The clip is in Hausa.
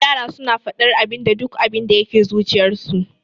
Yara suna faɗar abinda duk abinda yake zuciyarsu.